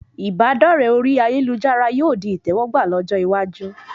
Ìbádọ́rẹ orí ayélujára yóò di ìtẹwọ́gbà lọ́jọ́ iwájú